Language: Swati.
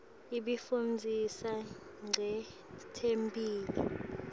ibifundzisa nqetemphilo